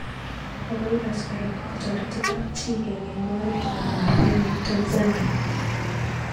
Makoi ikas koraa kotoreti kapchii kenai moet nepo mapema eng Tanzania?